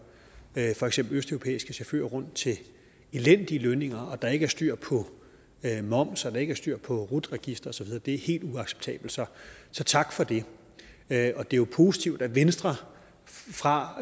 for eksempel østeuropæiske chauffører rundt til elendige lønninger når der ikke er styr på moms og når der ikke er styr på rut registeret det er helt uacceptabelt så tak for det det er jo positivt at venstre fra